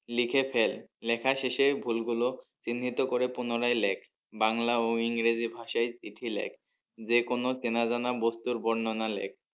লিখে ফেল লেখা শেষে ভুল গুলো চিহ্নিত করে পুনরায় লেখ বাংলা ও ইংরেজি ভাষায় চিঠি লেখ যে কোনো চেনা জানা বস্তুর বর্ণনা লেখ।